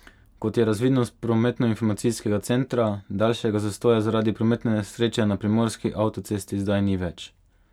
Kot je razvidno s prometnoinformacijskega centra, daljšega zastoja zaradi prometne nesreče na primorski avtocesti zdaj ni več.